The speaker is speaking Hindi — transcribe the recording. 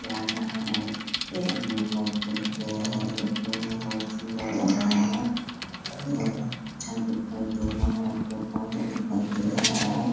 जा रहा है। इत्ते आदमी बैठे हुए हैं। देखने में बहुत सुंदर लग रहा है। बहुत अच्छा दिखाई दे रहा है। पेड़-पोधा दिखाई दे रहा है।